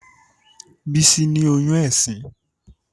Bísí ní oyún ẹ̀sín